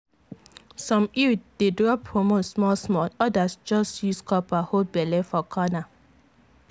some iud dey drop hormone small small others just use copper hold belle for corner.